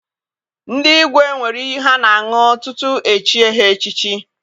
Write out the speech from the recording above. Ndị igwe nwere iyi ha na- aṅụ tutu e chie ha echichi.